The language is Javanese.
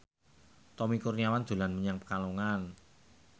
Tommy Kurniawan dolan menyang Pekalongan